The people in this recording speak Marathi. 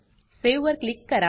सावे वर क्लिक करा